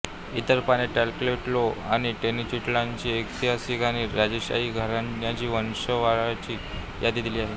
इतर पाने ट्लाटेलोल्को आणि टेनोच्टिट्लानची ऐतिहासिक आणि राजेशाही घराण्याची वंशावळाची यादी दिली आहे